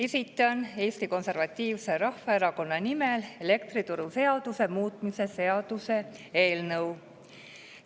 Esitan Eesti Konservatiivse Rahvaerakonna nimel elektrituruseaduse muutmise seaduse eelnõu.